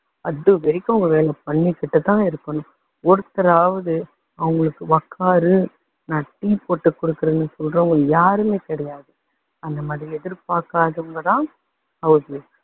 அது வரைக்கும் அவங்க வேலை பண்ணிக்கிட்டு தான் இருக்கணும். ஒருத்தராவது அவங்களுக்கு உக்காரு நான் tea போட்டு கொடுக்குறேன்னு சொல்றவங்க யாருமே கிடையாது. அந்த மாதிரி எதிர்பாக்காதவங்க தான் house wife